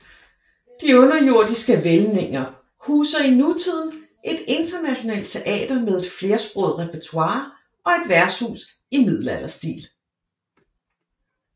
De underjordiske hvælvinger huser i nutiden et internationalt teater med et flersproget repertoire og et værtshus i middelalderstil